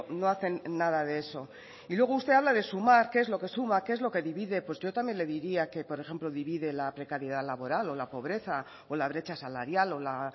no hacen nada de eso y luego usted habla de sumar qué es lo que suma qué es lo que divide pues yo también le diría que por ejemplo divide la precariedad laboral o la pobreza o la brecha salarial o la